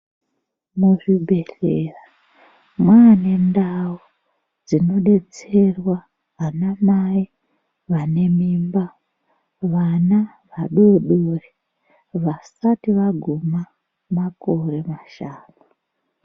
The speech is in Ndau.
Muzvibhedhleya maa nendau dzinodetserwa anamai vane mimba vana vadodori vasati vaguma makore mashanu.